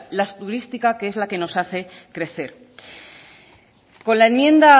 la turística que es la que nos hace crecer con la enmienda